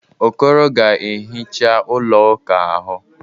Okoro ga-ehicha ụlọ ụka ahụ.